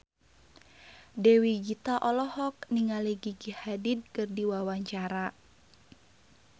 Dewi Gita olohok ningali Gigi Hadid keur diwawancara